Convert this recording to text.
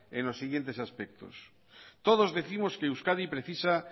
en los siguientes aspectos todos décimos que euskadi precisa